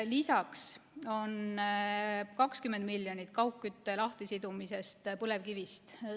Lisaks on 20 miljonit kaugkütte lahtisidumiseks põlevkivist.